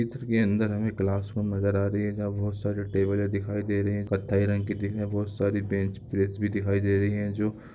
चित्र के अंदर हमें क्लास रूम नज़र आ रही है जहाँ बहोत सारी टेबले दिखाई दे रही है कथई रंग की बहोत सारी बेंच प्रेस भी दिखाई दे रही ह जो--